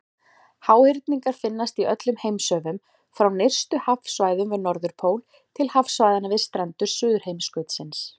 Háhyrningar finnast í öllum heimshöfum, frá nyrstu hafsvæðunum við Norðurpól til hafsvæðanna við strendur Suðurheimskautsins.